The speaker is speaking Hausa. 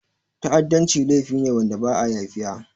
Ta'adanci laifi ne wanda ba'a yafiya.